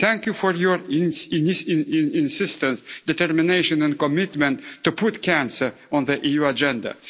Thank you for your insistence, determination and commitment to put cancer on the EU agenda.